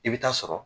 I bɛ taa sɔrɔ